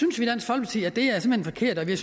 vi